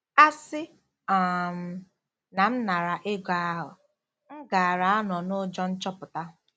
" A sị um na m nara ego ahụ, m gaara anọ n'ụjọ nchọpụta.